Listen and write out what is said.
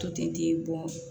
To ten